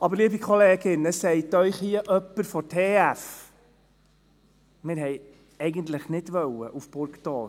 Aber, liebe Kolleginnen, es sagt Ihnen hier jemand von der TF Bern: «Wir wollten eigentlich nicht nach Burgdorf.